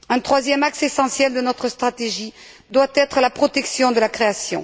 Un troisième axe essentiel de notre stratégie doit être la protection de la création.